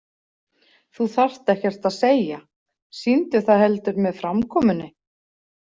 Þú þarft ekkert að segja, sýndu það heldur með framkomunni.